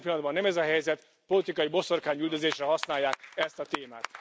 Jelen pillanatban nem ez a helyzet, politikai boszorkányüldözésre használják ezt a témát.